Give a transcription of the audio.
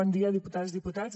bon dia diputades i diputats